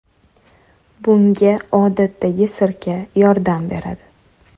Bunga odatdagi sirka yordam beradi.